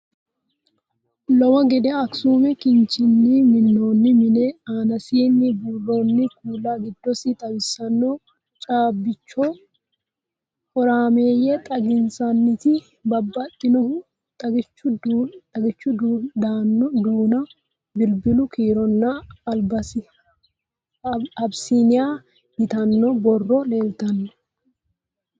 Lowo gede assume kinchunni minnoonni mine aanasi buurronni kuula giiddosi xawisanno caabbicho horameeyye xaginsanniti babbaxxihu xagichu duuno bilbilu kiironna abisiniya yitanno borrow leeltanno